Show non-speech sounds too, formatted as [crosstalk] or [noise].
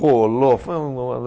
Rolou. Foi um [unintelligible]